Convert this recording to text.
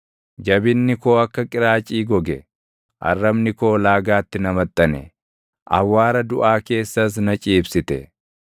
Jabinni koo akka qiraacii goge; arrabni koo laagaatti na maxxane; awwaara duʼaa keessas na ciibsite.